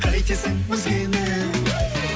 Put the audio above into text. қайтесің өзгені